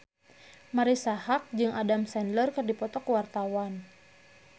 Marisa Haque jeung Adam Sandler keur dipoto ku wartawan